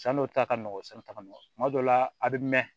San n'o ta ka nɔgɔn sanuta ka nɔgɔn kuma dɔw la a bɛ mɛn